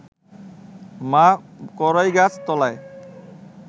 মা কড়ইগাছ তলায়